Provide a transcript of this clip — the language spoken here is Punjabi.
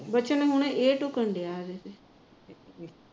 ਵਚਨ ਹੁਣ ਇਹ ਢੁਕਦਾ ਐ